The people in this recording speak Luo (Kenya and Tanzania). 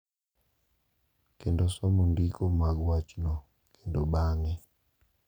kendo somo ndiko mag wachno kendo bang’e ,.